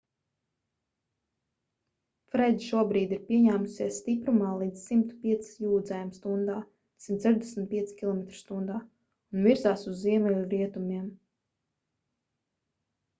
fred šobrīd ir pieņēmusies stiprumā līdz 105 jūdzēm stundā 165 km/h un virzās uz ziemeļrietumiem